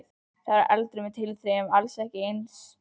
Hún var elduð með tilþrifum, alls ekki alltaf eins.